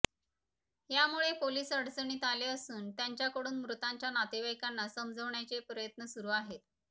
यामुळे पोलीस अडणचणीत आले असून त्यांच्याकडून मृतांच्या नातेवाईकांना समजवण्याचे प्रयत्न सुरू आहेत